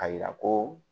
A yira ko